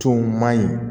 Tow ma ɲi